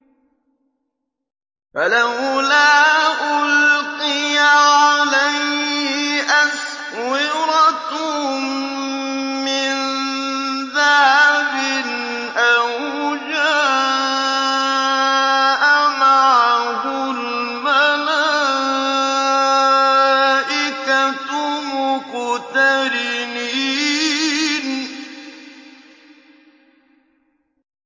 فَلَوْلَا أُلْقِيَ عَلَيْهِ أَسْوِرَةٌ مِّن ذَهَبٍ أَوْ جَاءَ مَعَهُ الْمَلَائِكَةُ مُقْتَرِنِينَ